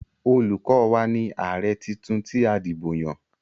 Olukọ́ wa ni ààrẹ titun tí a dìbò yàn.